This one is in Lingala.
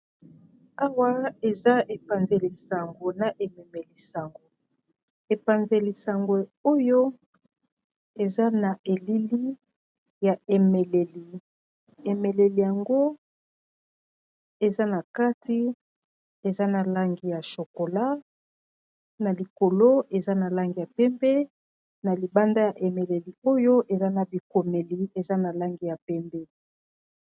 Awa, eza epanze lisango na ememe lisango. Epanze lisango oyo, eza na elili ya emeleli. Emeleli yango, eza na kati. Eza na langi ya shokola, na likolo eza na langi ya pembe. Na libanda ya emeleli oyo, eza na bikomeli eza na langi ya pembe.